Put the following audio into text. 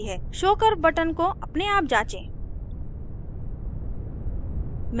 show curve button को अपने आप जाँचें